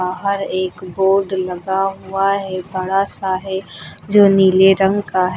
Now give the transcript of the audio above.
बाहर एक बोर्ड लगा हुआ है बड़ा सा है जो नीले रंग का है।